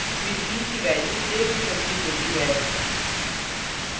फिर b की value a में संचित होती है